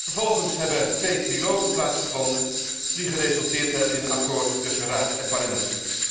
Vervolgens hebben er twee trilogen plaatsgevonden, die geresulteerd hebben in een akkoord tussen Raad en Parlement.